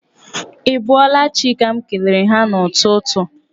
Ị bọọla chi' ka m kelere ha n'ụtụtụ.